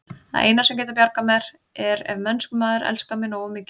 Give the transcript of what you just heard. Það eina, sem getur bjargað mér, er ef mennskur maður elskar mig nógu mikið.